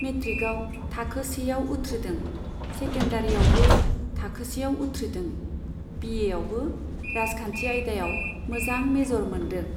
मेट्रिकआव थाखोसेआव उथ्रिदों, सेकेन्डारीयावबो थाखोसेआव उथ्रिदों, बिएआवबो राजखान्थि आयदायाव मोजां मेजर मोन्दों।